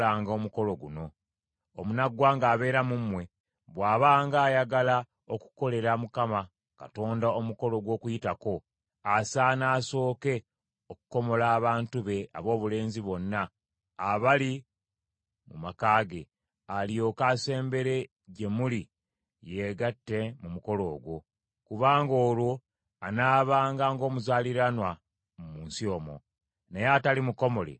“Omunaggwanga abeera mu mmwe bw’abanga ayagala okukolera Mukama Katonda omukolo gw’Okuyitako, asaana asooke okukomola abantu be aboobulenzi bonna abali mu maka ge, alyoke asembere gye muli yeegatte mu mukolo ogwo; kubanga olwo anaabanga ng’omuzaaliranwa mu nsi omwo. Naye atali mukomole taagiryengako.